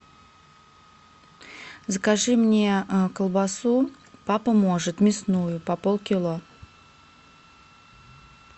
закажи мне колбасу папа может мясную по полкило